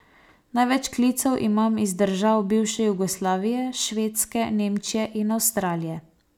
Največ klicev imam iz držav bivše Jugoslavije, Švedske, Nemčije in Avstralije.